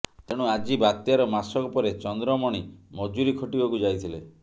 ତେଣୁ ଆଜି ବାତ୍ୟାର ମାସକ ପରେ ଚନ୍ଦ୍ରମଣି ମଜୁରି ଖଟିବାକୁ ଯାଇଥିଲେ